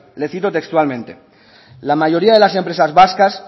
le cito textualmente la mayoría de las empresas vascas